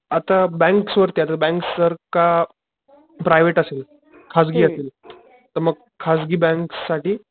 आता बॅंक्स वरती आता बॅंक्स जर का प्रायव्हेट असेल खाजगी असेल तर मग खाजगी बँक साठी,